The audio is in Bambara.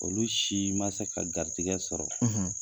Olu si man se ka garijigɛ sɔrɔ.